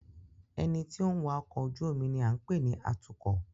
Ẹni tí ó ń wa ọkọ̀ ojú omi ni à ń pè ní Atúkọ̀